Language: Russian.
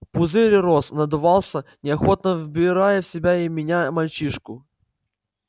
пузырь рос надувался неохотно вбирая в себя и меня и мальчишку